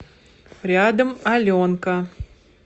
рядом аленка